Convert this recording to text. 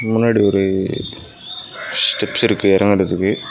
முன்னாடி ஒரு ஸ்டெப்ஸ் இருக்கு எறங்கடத்துக்கு.